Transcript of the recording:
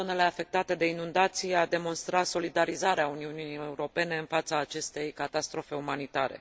în zonele afectate de inundații a demonstrat solidarizarea Uniunii Europene în fața acestei catastrofe umanitare.